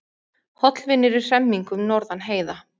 Hollvinir í hremmingum norðan heiða